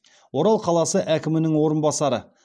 орал қаласы әкімінің орынбасары